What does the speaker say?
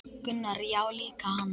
Gunnar: Já líka hann